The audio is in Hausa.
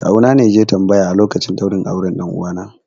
Kawuna ne ya je tambaya a lokacin ɗaurin auren 'ɗan uwana